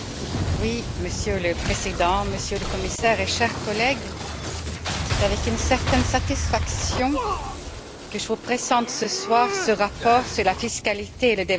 Monsieur le Président, Monsieur le Commissaire, chers collègues, c'est avec une certaine satisfaction que je vous présente ce soir ce rapport sur la fiscalité et le développement.